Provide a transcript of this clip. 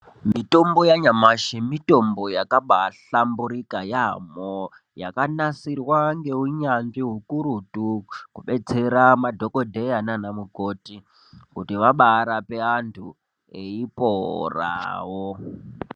Mitombo ya nyamashi mitombo yakabai hlamburika yamho yaka nasirwa nge unyanzvi hukurutu ku detsera madhokodheya nana mukoti kuti vabai rape vanhu eyi porawo.